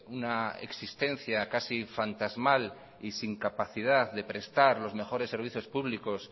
una existencia casi fantasmal y sin capacidad de prestar los mejores servicios públicos